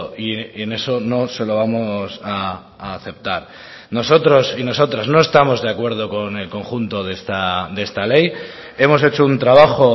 y en eso no se lo vamos a aceptar nosotros y nosotras no estamos de acuerdo con el conjunto de esta ley hemos hecho un trabajo